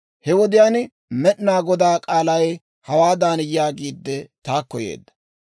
He wodiyaan Med'inaa Godaa k'aalay, hawaadan yaagiidde, taakko yeedda;